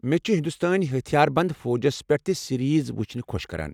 مےٚ چھِ ہنٛدوستٲنۍ ہتھِیار بَنٛد فوجس پٮ۪ٹھ تہِ سیریز وُچھٕن خۄش كران۔